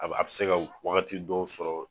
A a bɛ se ka waagati dɔ sɔrɔ.